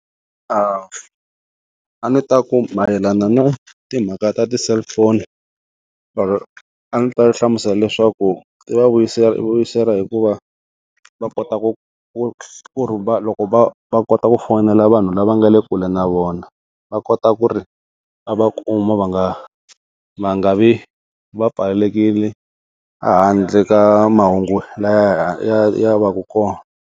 A a ndzi ta ku mayelana na timhaka ta ti-cellphone, a ndzi ta hlamusela leswaku i va vuyisela, vuyisela hikuva va kota ku ku kuma loko va va kota ku fonela vanhu lava nga le kule na vona va kota ku ri va kuma va nga va nga vi va pfalelekile a handle ka mahungu lawa ya ya va ku kona.